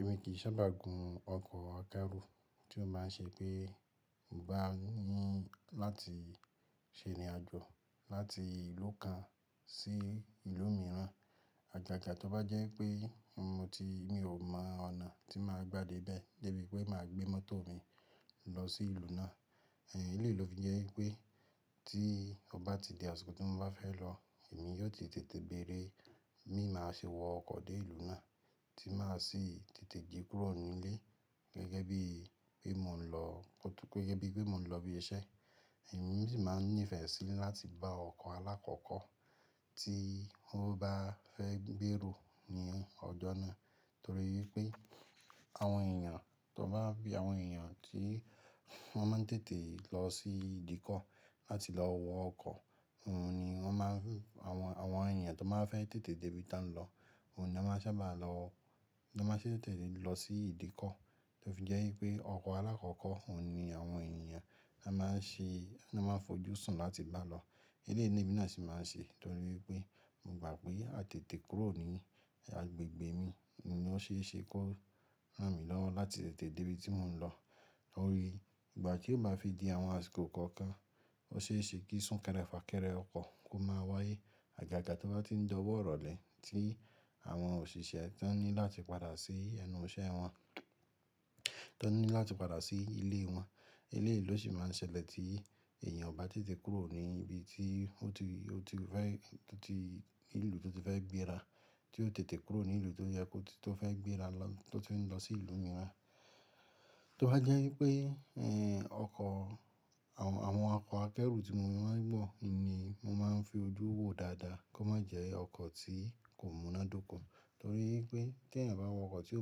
Èmi kì í sábà gùn ọkọ̀ akẹ́rù tí ó má n ṣe pé mo bá ní láti ṣe ìrìn àjò láti ìlú kan sí ìlú mìíràn. Àgàgà tó bá jẹ́ pé mo ti, mi ò mọ ọ̀nà tí màá gbà dé ibẹ̀, fébi pé màá gbé mọ́tò mi lọ sí ìlú náà. Èyí lè ló fi jẹ́ wípé tí ọ bá ti di àsìkò tí mo bá fẹ́ lọ, èmi yóò ti tètè béèrè, bi máa ṣe wọ ọkọ̀ dé ìlú náà tí màá sì tètè jì kúrò ní ilé gẹ́gẹ́ bí pé mò ń lọ, gẹ́gẹ́ bí pé mò ń lọ ibi iṣẹ́. Èmi sì máa n nífẹ̀ẹ́ síi láti bá ọkọ̀ alákọ̀kọ́ tí mo bá fẹ́ gbèrò ní ọjọ́ náà. Torí pé àwọn èèyàn tó bá bí àwọn èèyàn tí wọ́n má n tètè lọ sí ìdíkọ̀ láti lọ wọ ọkọ̀, òun ni wọ́n má n, àwọn, àwọn èèyàn tó má a fẹ́ tètè débí tán lọ, òun ni wọ́n sábà máa lọ, ni wọ́n má n ṣè tètè lọ sí ìdíkọ̀. Ló fi jẹ́ wípé ọkọ̀ alákọ̀kọ́ òun ni àwọn èèyàn ni wọ́n má n ṣe, ni wọ́n má n fojúsùn láti bá lọ. Elé ni emi náà sì máa n ṣe torí pé mo gbà pé àtètè kúrò ní agbègbè mi ni ó ṣe é ṣe kó rán mi lọ́wọ́ láti tètè débí tí mò ń lọ. Lórí ìgbà tí ó báa fi di àwọn àsìkò kọ̀ọ̀kan, ó ṣe é ṣe kí súnkẹrẹ fà kẹrẹ ọkọ̀ kó máa wáyé. Àgàgà tó bá ti n dọwọ́ ọ̀rọ̀ lè tí àwọn òṣìṣẹ́ tọn ní láti padà sí ẹnu iṣẹ́ wọn, tọn ní láti padà sí ilé wọn. Eléèlo sì má n ṣẹlẹ̀ tí èèyàn bá tètè kúrò ní ibi tí ó ti, ó ti fẹ́, tó ti, kuro tó ti fẹ́ gbé ara, tí ó tètè kúrò ní ìlú tó yẹ kó tó fẹ́ gbé ara lọ, tó ti n lọ sí ìlú mìíràn. Tó bá jẹ́ wípé eh ọkọ̀, àwọn, àwọn ọkọ̀ akẹ́rù tí mo má n wọ̀ ni mo má n fi ojú wo dáadáa kó má jẹ ọkọ̀ tí kò múnádóko. Torí pé tí èèyàn bá wọ ọkọ̀ tí ò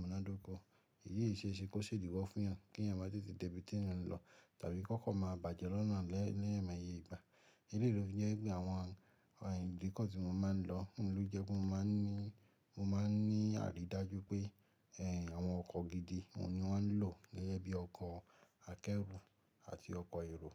múnádóko, èyí yí ṣe é ṣe kó sèdiwọ́ fún èèyàn kí èèyàn bá tètè débí tí èèyàn ń lọ tàbí kó kọ́kọ́ máa bàjẹ́ lọ́nà lẹ́yìn lọ́yàn máa yẹ ìgbà. Eléyìí ló fi jẹ́ wípé àwon ìdíkọ̀ tí mo má ń lọ òun ló je pé mo má ń ní àrí dájú pé àwon ọkọ̀ gidi òun ni won n lò gẹ́gẹ́ bíi ọkọ̀ akẹ́rù àti ọkọ̀ èrò.